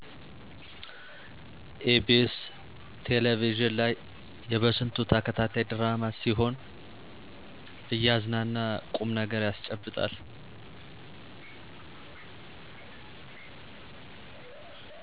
ኢ.ቢ.ስ ቴለቪዥን ላይ የበስንቱ ተከታታይ ድራማ ሲሆን እያዝናና ቁምነገር ያስጨብጣል።